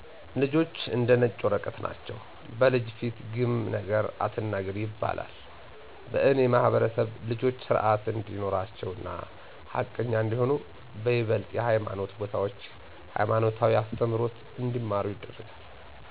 ልጆች እንደ ነጭ ወረቀት ናቸዉ። " በልጅ ፊት ግም ነገር አትናገር " ይባላል በእኔ ማህበረሰብ ልጆች ስርአት እንዲኖራቸው እና ሀቀኛ እንዲሆኑ በይበልጥ የሀይማኖት ቦታዎች ሀይማኖታዊ አስተምሮት እንዲማሩ ይደረጋል።